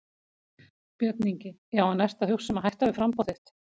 Björn Ingi: Já en ertu að hugsa um að hætta við framboðið þitt?